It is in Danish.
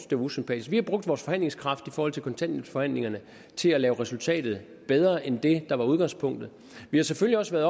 det var usympatisk vi har brugt vores forhandlingskraft i forhold til kontanthjælpsforhandlingerne til at lave resultatet bedre end det der var udgangspunktet vi har selvfølgelig også været